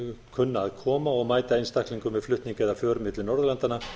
kunna að koma og mæta einstaklingum við flutning eða för milli norðurlandanna